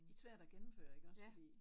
Svært at gennemføre iggås fordi